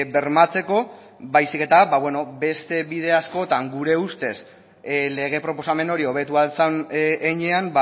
bermatzeko baizik eta beste bide askotan gure ustez lege proposamen hori hobetu ahal zen heinean